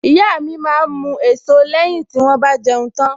Ìyá mi máa ń mu èso lẹ́yìn tí wón bá jẹun tán.